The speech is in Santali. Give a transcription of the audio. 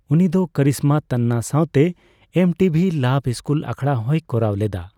ᱩᱱᱤ ᱫᱚ ᱠᱟᱨᱤᱥᱢᱟ ᱛᱟᱱᱱᱟ ᱥᱟᱣᱛᱮ M T V lab school ᱟᱠᱷᱲᱟ ᱦᱚᱸᱭ ᱠᱚᱨᱟᱣ ᱞᱮᱫᱟ ᱾